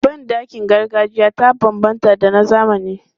Ban ɗakin gargajiya ta banbanta da na zamani.